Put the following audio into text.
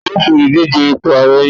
tani yíò ṣe Oludije ipo ààrẹ yin bọ